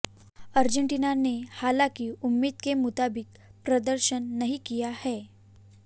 Argentina ने हालांकि उम्मीद के मुताबिक प्रदर्शन नहीं किया है